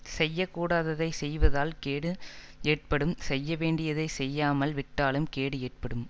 செய்ய கூடாததைச் செய்வதால் கேடு ஏற்படும் செய்ய வேண்டியதை செய்யாமல் விட்டாலும் கேடு ஏற்படும்